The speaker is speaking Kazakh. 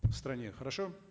в стране хорошо